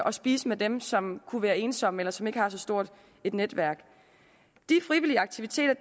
og spise med dem som kunne være ensomme eller som ikke har så stort et netværk de frivillige aktiviteter